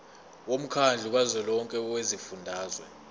womkhandlu kazwelonke wezifundazwe